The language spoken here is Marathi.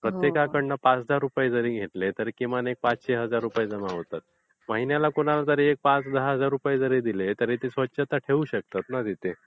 प्रत्येकाकडून पाच दहा रुपये जारी घेतले तरी किमान एक पाचशे हजार रुपये जमा होतात. महिन्याला कोणाला जारी पाच दहा हजार रुपये जरी दिले तरी तिथे स्वच्छता ठेऊ शकतात ना तिथे?